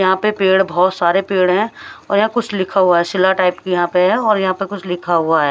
यहां पे पेड़ बहुत सारे पेड़ हैं और यहां कुछ लिखा हुआ है शिला टाइप की यहां पे है और यहां पर कुछ लिखा हुआ है।